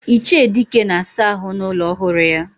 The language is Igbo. Iche Dike na asa ahu na ulo ohuru ya.